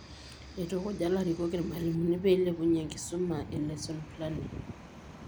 Eitukuja ilarikok irmalimuni peeeilepunyie enkisuma e lesson planning.